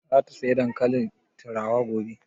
Za ta saya dankalin turawa gobe?